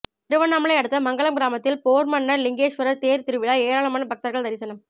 திருவண்ணாமலை அடுத்த மங்கலம் கிராமத்தில் போர்மன்ன லிங்கேஸ்வரர் தேர் திருவிழா ஏராளமான பக்தர்கள் தரிசனம்